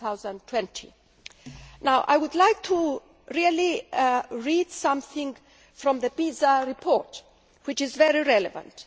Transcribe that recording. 2020. Now I would like to read something from the PISA report, which is very relevant.